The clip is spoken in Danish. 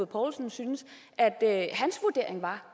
poulsen syntes at at hans vurdering var